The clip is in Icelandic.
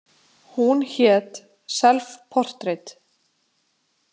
Hún hét „Self Portrait“.